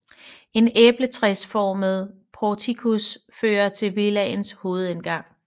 En æbletræsformet portikus fører til villaens hovedindgang